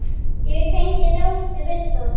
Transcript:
Ég tengi dálítið við það.